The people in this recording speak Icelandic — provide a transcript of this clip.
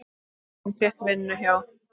Hann fékk vinnu hjá